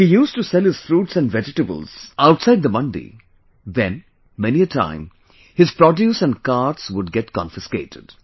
If he used to sell his fruits and vegetables outside the mandi, then, many a times his produce and carts would get confiscated